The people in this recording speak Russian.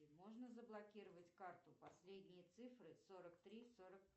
можно заблокировать карту последние цифры сорок три сорок